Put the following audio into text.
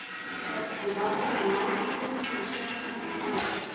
Ég varð að vera nálægt honum til að sjá hvert hann færi.